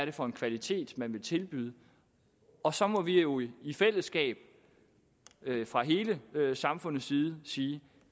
er for en kvalitet man vil tilbyde og så må vi jo i i fællesskab fra hele samfundslivet sige